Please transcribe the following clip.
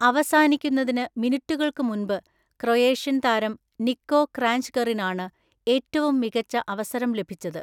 അവസാനിക്കുന്നതിന് മിനിറ്റുകൾക് മുൻപ്, ക്രൊയേഷ്യൻ താരം നിക്കോ ക്രാഞ്ച്‌കറിനാണ് ഏറ്റവും മികച്ച അവസരം ലഭിച്ചത്.